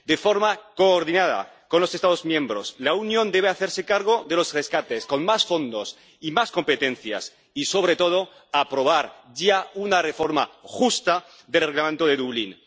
De forma coordinada con los Estados miembros, la Unión debe hacerse cargo de los rescates con más fondos y más competencias y, sobre todo, aprobar ya una reforma justa de Reglamento de Dublín.